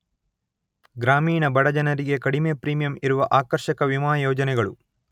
ಗ್ರಾಮೀಣ ಬಡಜನರಿಗೆ ಕಡಿಮೆ ಪ್ರೀಮಿಯಂ ಇರುವ ಆಕರ್ಷಕ ವಿಮಾ ಯೋಜನೆಗಳು.